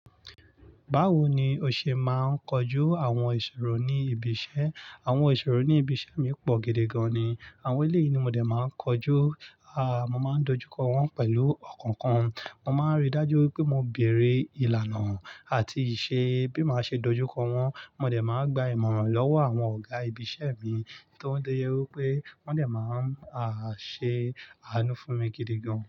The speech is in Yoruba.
Báwo ni o ṣe máa ń kojú àwọn ìṣòro ní ibi iṣẹ́? Àwọn ìṣòro ní ibi iṣẹ́ mi pọ̀ gidi gan ni. Àwọn eléyìí ni mo dẹ̀ máa ń kojú, mo máa ń dojúkọ wọ́n pẹ̀lú ọkàn kan. Mo máa ń rí dájú wipé mo bèerè ìlànà àti ìṣe bí maa ṣe dojúkọ wọ́n. Mo dẹ̀ máa gba ìmọ̀ràn lọ́wọ́ àwọn ọ̀gá ibi iṣẹ́ mi, to wọ́n tó jẹ wípé wọ́n dẹ̀ máa ń, a, ṣe àánú fún mi gidi gan.